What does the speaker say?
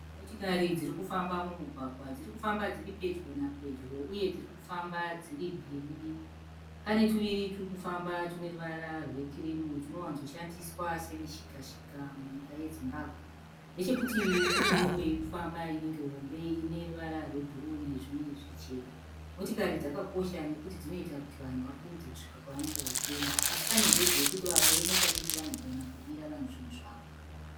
Motokari dzirikufamba mumugwagwa, dzirikufamba dziri pedyo napadyo uye dzirikufamba dzirimbiri mbiri. Pane tuviri turikufamba tuneruvara rwekirimu tunowadzoshandiswa semishikashika munyika yeZimbabwe. Nechekutivi kuneimwe irikufamba inenge hombe ineruvara rwebhuruwu nezvimwe zvichena. Motokari dzakakosha nekuti dzinoita kuti vanhu vakurumidze kusvika kwavanenge vachienda. Asi pane njodzi yekuti vamwe vemota diki vanogona kubirwa vanhu zvinhu zvavo.